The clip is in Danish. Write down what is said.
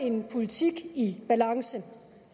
en politik i balance